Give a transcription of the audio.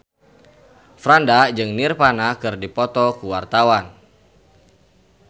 Franda jeung Nirvana keur dipoto ku wartawan